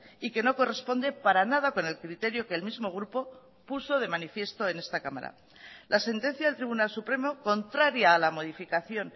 y que no corresponde para nada con el criterio que el mismo grupo puso de manifiesto en esta cámara la sentencia del tribunal supremo contraria a la modificación